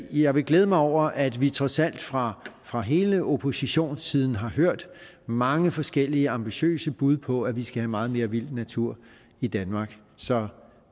jeg vil glæde mig over at vi trods alt fra fra hele oppositionssiden har hørt mange forskellige ambitiøse bud på at vi skal have meget mere vild natur i danmark så